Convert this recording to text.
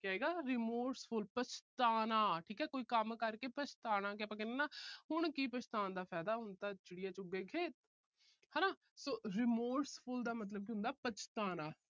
ਕੀ ਆਏਗਾ remorseful ਪਛਤਾਉਣਾ ਠੀਕ ਆ। ਕੋਈ ਕੰਮ ਕਰਕੇ ਪਛਤਾਣਾ। ਕਿ ਆਪਾ ਕਹਿੰਦੇ ਆ ਨਾ ਹੁਣ ਕੀ ਪਛਤਾਉਣ ਦਾ ਫਾਇਦਾ, ਹੁਣ ਤਾਂ ਚਿੜੀਆ ਚੁਗ ਗਈ ਖੇਤ। ਹਨਾ so remorseful ਦਾ ਮਤਲਬ ਕੀ ਹੁੰਦਾ ਪਛਤਾਉਣਾ।